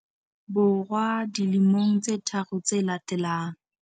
Bo rwa dilemong tse tharo tse latelang.